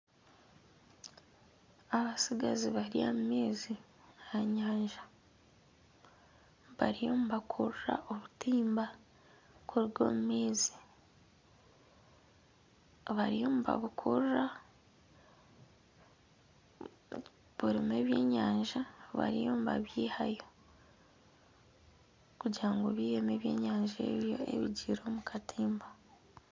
Abatsigazi bari omu maizi aha nyanja. Bariyo nibakurura obutimba kuruga omu maizi. Abariyo nibabukurura, burimu ebyenyanja bariyo nibabiihayo, kugira ngu biihemu ebyenyanja ebyo ebigiire omu katimba.